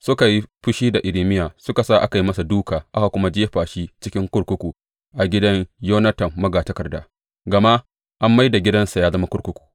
Suka yi fushi da Irmiya suka sa aka yi masa dūka aka kuma jefa shi cikin kurkuku a gidan Yonatan magatakarda, gama an mai da gidansa ya zama kurkuku.